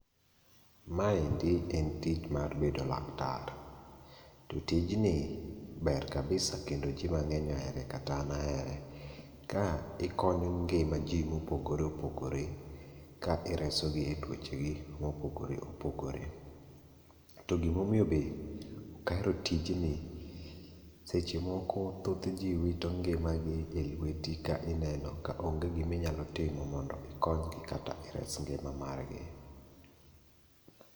Maendi en tich mar bedo laktar, to tijni ber kabisa kendo ji mang'eny ohere kata an ahere. Ka ikonyo ngima ji mopogore opogore ka iresogi e tuochegi mopogore opogore. To gimomiyo be ok ahero tijni, seche moko thoth ji wito ngimagi e lweti ka ineno kaonge giminyalo timo mondo ikonygi kata ires ngima margi.